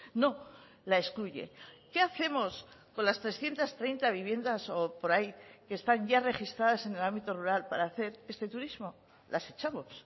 no la excluye qué hacemos con las trescientos treinta viviendas o por ahí que están ya registradas en el ámbito rural para hacer este turismo las echamos